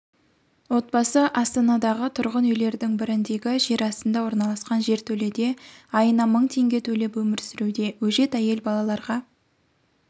отбасы астанадағы тұрғын үйлердің біріндегі жерастында орналасқан жертөледе айына мың теңге төлеп өмір сүруде өжет әйел балаларға